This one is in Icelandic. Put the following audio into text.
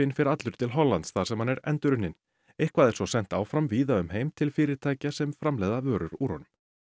fer allur til Hollands þar sem hann er endurunninn eitthvað er svo sent áfram víða um heim til fyrirtækja sem framleiða vörur úr honum